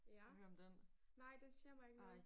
Ja. Nej den siger mig ikke noget